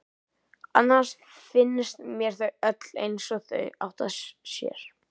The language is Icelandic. Annars finnst mér þau öll eins og þau áttu að sér.